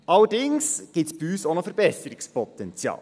Allerdings gibt es bei uns auch noch Verbesserungspotenzial.